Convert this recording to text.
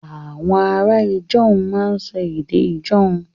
Àwọn ará Ijaw máa ń sọ èdè Ijaw